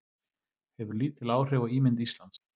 Hefur lítil áhrif á ímynd Íslands